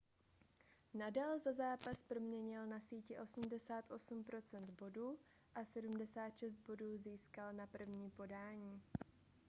nadal za zápas proměnil na síti 88 % bodů a 76 bodů získal na první podání